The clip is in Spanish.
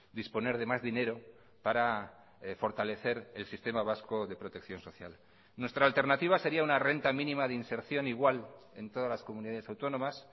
disponer de más dinero para fortalecer el sistema vasco de protección social nuestra alternativa seria una renta mínima de inserción igual en todas las comunidades autónomas